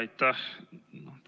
Jaa, aitäh!